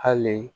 Hali